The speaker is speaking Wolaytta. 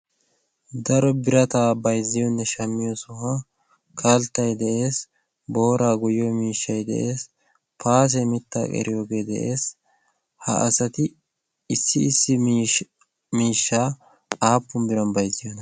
daro birataa bayzziyoonne shammiyo sohuwa kalttay de'ees booraa guyyiyo miishshay de'ees paase mitta qeeriyoogee de'ees ha asati issi issi miishshaa aappun biran bayzziyoona?